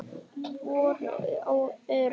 Voru örugg.